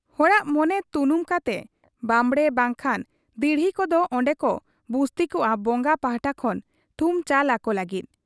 ᱦᱚᱲᱟᱜ ᱢᱚᱱᱮ ᱛᱩᱱᱩᱢ ᱠᱟᱛᱮ ᱵᱟᱵᱽᱬᱮ ᱵᱟᱝᱠᱷᱟᱱ ᱫᱤᱦᱨᱤ ᱠᱚᱫᱚ ᱚᱱᱰᱮᱠᱚ ᱵᱩᱥᱛᱤᱠᱚᱜ ᱟ ᱵᱚᱝᱜᱟ ᱯᱟᱦᱴᱟ ᱠᱷᱚᱱ ᱛᱷᱩᱢ ᱪᱟᱞ ᱟᱠᱚ ᱞᱟᱹᱜᱤᱫ ᱾